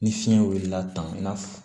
Ni fiɲɛ wulila tan i n'a fɔ